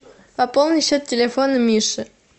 пополни счет телефона миши